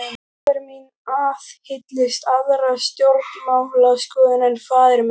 Móðir mín aðhylltist aðra stjórnmálaskoðun en faðir minn.